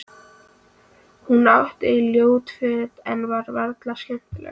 Hún átti ljót föt en var alveg skemmtileg.